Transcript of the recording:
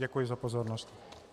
Děkuji za pozornost.